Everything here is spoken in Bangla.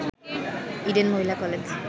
Eden Mohila college